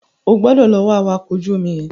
O gbọdọ̀ lọ wá awakọ̀ ojú omi yẹn.